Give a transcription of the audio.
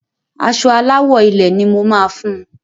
Aṣọ Aláwọ̀ ilẹ̀ ni mo ma fun.